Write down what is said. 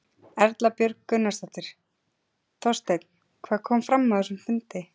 Erla Björg Gunnarsdóttir: Þorsteinn hvað kom fram á þessum fundi?